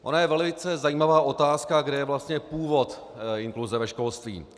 Ona je velice zajímavá otázka, kde je vlastně původ inkluze ve školství.